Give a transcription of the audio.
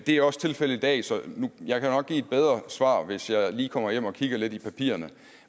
det er også tilfældet i dag så jeg kan nok give et bedre svar hvis jeg lige kommer hjem og kigger lidt i papirerne